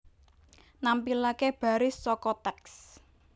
Nampilaké baris saka teks